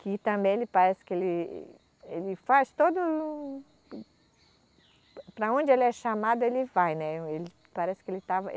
Que também, ele parece que ele, ele faz todo. Para onde ele é chamado, ele vai, né. Ele, parece que ele estava